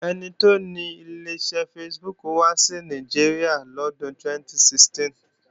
Ẹni tó ni Ileṣẹ́ Facebook wá sí Nàìjíríà lọ́dún 2016